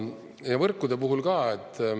Ja võrkude puhul ka.